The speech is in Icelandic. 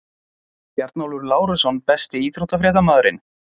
Bjarnólfur Lárusson Besti íþróttafréttamaðurinn?